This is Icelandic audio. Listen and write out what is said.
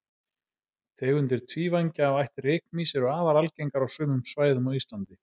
Tegundir tvívængja af ætt rykmýs eru afar algengar á sumum svæðum á Íslandi.